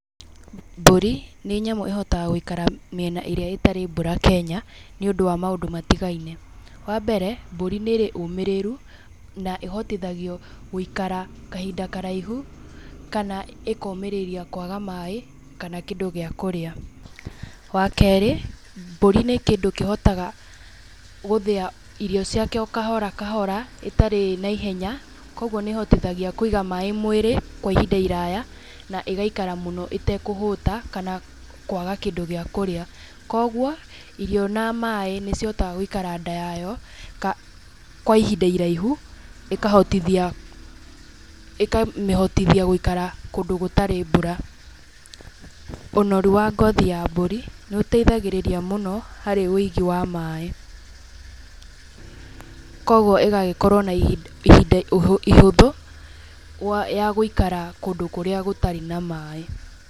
Mbũri nĩ nyamũ ĩhotaga gũikara mĩena ĩrĩa ĩtarĩ mbura Kenya, nĩũndũ wa mũndũ matigaine, wa mbere mbũri nĩrĩ ũmĩrĩru, na ĩhotithagio gũikara kahinda karaihu kana ĩkomĩrĩria kwaga maĩ, kana kĩndũ gĩa kũrĩa. Wa kerĩ, mbũri nĩ kĩndũ kĩhotaga gũthĩa irio ciakĩo kahora kahora ĩtarĩ na ihenya, koguo nĩ ĩhotithagia kũiga maĩ mwĩrĩ kwa ihinda iraya, na ĩgaikara mũno ĩgaikara mũno ĩtakũhũta, kana kwaga kĩndũ gĩa kũrĩa, koguo, irio na maĩ nĩ cihotaga gũikara ndaa yayo kwa ihinda iraihu, ĩkahotithia, ĩkamĩhotithia gũikara kũndũ gũtarĩ mbura. Ũnoru wa ngothi ya mbũri nĩ ũteithagĩrĩria mũno harĩ ũigi wa maĩ, koguo ĩgagĩkorwo na ihinda ihũthũ wa ya gũikara kũndũ kũrĩa gũtarĩ na maĩ.